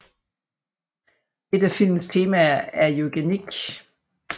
Et af filmens temaer er eugenik